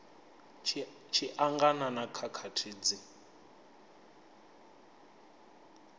tshi angana na khakhathi dzi